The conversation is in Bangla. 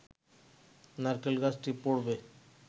নারকেল গাছটি পড়বে